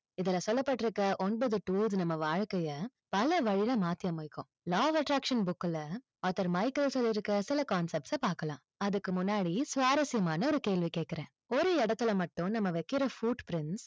இதுல சொல்லப்பட்டிருக்கற ஒன்பது tour நம்ம வாழ்க்கையை பல வழியில மாற்றி அமைக்கும் law of attraction book ல author மைக்கேல் சொல்லி இருக்கிற சில concepts அ பார்க்கலாம். அதுக்கு முன்னாடி சுவாரஸ்யமான ஒரு கேள்வி கேட்கிறேன். ஒரு இடத்துல மட்டும் நம்ம வைக்கிற foot print